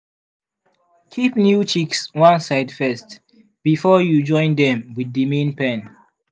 keep new chicks one side first before you join dem with the main pen.